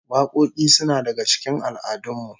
Wakoki suna daga cikin al'adun mu